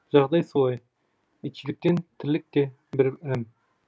жағдай солай итшілеткен тірлік те бір ілім